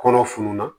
Kɔnɔ fununa